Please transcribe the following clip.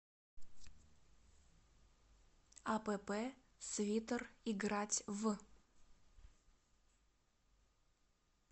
апп свитер играть в